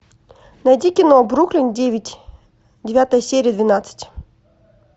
найди кино бруклин девять девятая серия двенадцать